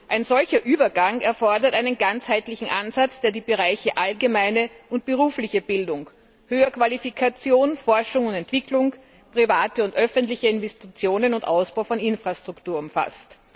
Ein solcher Übergang erfordert einen ganzheitlichen Ansatz, der die Bereiche allgemeine und berufliche Bildung, Höherqualifikation, Forschung und Entwicklung, private und öffentliche Investitionen und Ausbau von Infrastruktur umfasst.